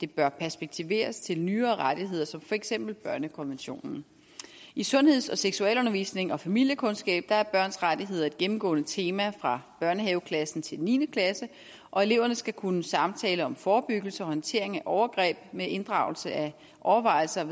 bør perspektiveres til nyere rettigheder som for eksempel børnekonventionen i sundheds og seksualundervisning og familiekundskab er børns rettigheder et gennemgående tema fra børnehaveklassen til niende klasse og eleverne skal kunne samtale om forebyggelse og håndtering af overgreb med inddragelse af overvejelser